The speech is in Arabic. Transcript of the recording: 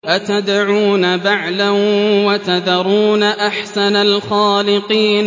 أَتَدْعُونَ بَعْلًا وَتَذَرُونَ أَحْسَنَ الْخَالِقِينَ